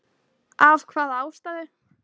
Af hvaða ástæðu?